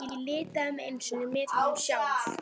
Ég litaði mig einu sinni með honum sjálf.